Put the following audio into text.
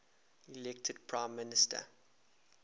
elected prime minister